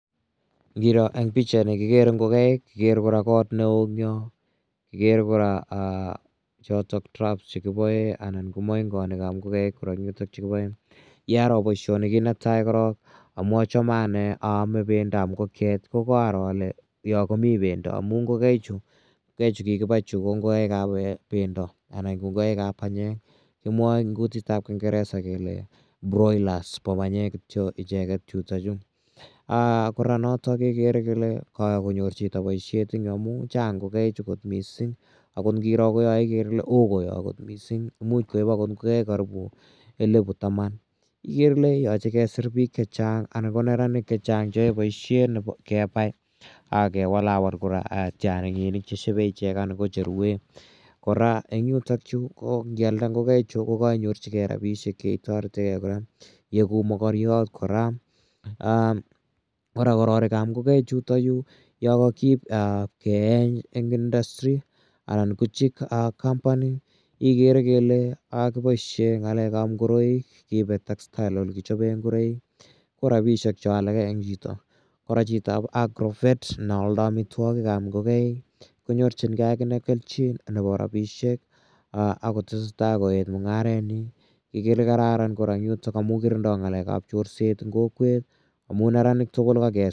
Ngiro eng' pichaini kekere ngokaik, kikere kora kot ne oo, kikere kora chotok droughs anan ko moingonik che kipoen. Ye aro poishoni korok kit ne tai amu achame aame pendo ap ngokiet ko aro ale yo komi pendo amu ngokaichu chu kikipai chu ko ngokaik ap pendo anan ko panyek. Kimwae eng' kutit ap kingeresa kele broilers, a panyek kityo icheget chutachu. Kora notok kekere kele kayai konyor chito poishet en yu amu chang' ngokaichu missing'. Akot ngiro koya ikere ile oo koya missing'. Imuch koip akot ngokaik karipu elipu taman. Ikere ile yache kesir pik che chang' anan ko neranik che chang' che yae poishet kepai ak kewalawal tiang'inik che shepe ichek anan ko che ruen. Kora eng' yutayu ngi alde ngokaichu ko kainyoru rapishek che itaretegei kora, ieku makariat kora. Kora kororik ap ngokaichutachu ya kakiip keeny en industry anan ko chick company ikere kele kiposhe ngoroik keipe textile ole kichope ngoroik, ko rapishek cho alak rng' chito. Kora chitoap agrovet ne aldai amitwogik ap ngolaik ko nyorchingei akine kelchin nepo rapishek ak kotese tai koet mung'aretnyi. Ikere ile kararan yutok amu kirindai ng'alek ap chorset eng' kokwet amu neranik tugul ko kakesir.